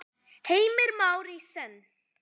Heimir Már: Í senn?